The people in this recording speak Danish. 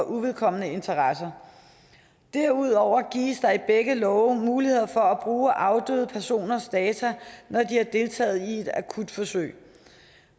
uvedkommende interesser derudover gives der i begge love muligheder for at bruge afdøde personers data når de har deltaget i et akutforsøg